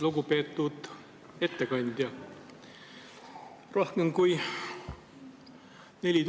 Lugupeetud ettekandja!